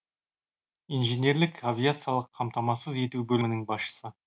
инженерлік авиациялық қамтамасыз ету бөлімінің басшысы